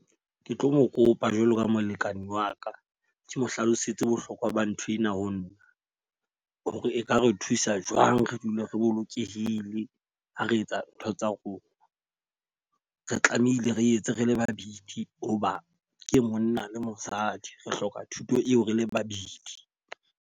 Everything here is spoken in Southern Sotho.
Ke tlo mo kopa jwalo ka molekane wa ka, ke mo hlalosetse bohlokwa ba nthwena ho nna. Ho re e ka re thusa jwang re dule re bolokehile ha re etsa ntho tsa rona. Re tlamehile re etse rele babedi ho ba ke monna le mosadi. Re hloka thuto eo re le babedi.